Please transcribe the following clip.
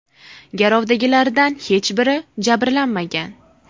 Garovdagilardan hech biri jabrlanmagan.